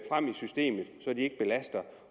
systemet så de ikke belaster